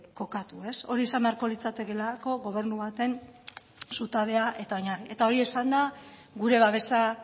kokatu hori izan beharko litzatekeelako gobernu baten zutabe eta oinarria hori esanda gure babesa